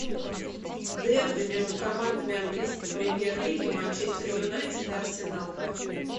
дерби между командами английской премьер лиги манчестер юнайтед и арсенал